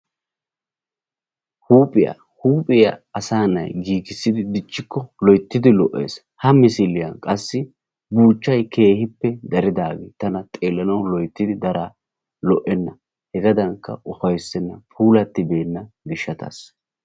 Huuphiya, huuphiya asaa na'ayi giigissidi dichchikko loyttidi lo'ees. Ha misiliyan qassi buuchchayi keehippe daridaagee tana xeellanawu loyttidi daraa lo'enna. Hegaadankka ufayssenna puulattibeenna gishshataassa.